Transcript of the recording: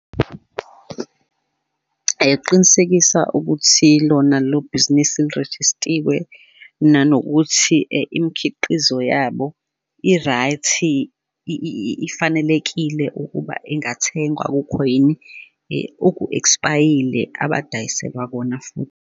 Qinisekisa ukuthi lona lelo bhizinisi lirejistiwe, nanokuthi imikhiqizo yabo, i-right, ifanelekile ukuba ingathengwa akukho yini oku-expayile abadayiselwa kona futhi.